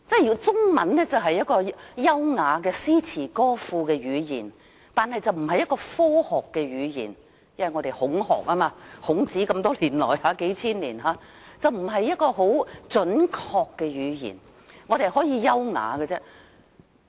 由於中文是優雅的詩詞歌賦語言，並不是科學的語言，因受"孔學"就是孔子數千年以來的影響，中文不是很準確的語言，只可以是優雅的語言。